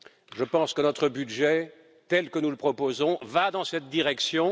Je pense que notre budget, tel que nous le proposons, va dans cette direction.